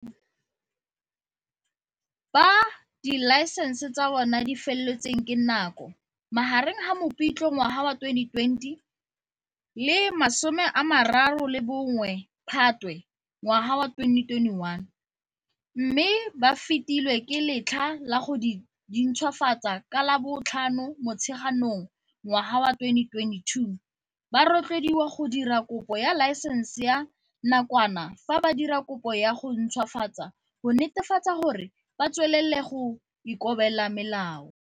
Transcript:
Ba dilaesense tsa bona di feletsweng ke nako magareng ga Mopitlwe 2020 le 31 Phatwe 2021, mme ba fetilwe ke letlha la go dintšhwafatsa ka la bo 5 Motsheganong 2022, ba rotloediwa go dira kopo ya laesense ya nakwana fa ba dira kopo ya go ntšhwafatsa go netefatsa gore ba tswelela go ikobela melao.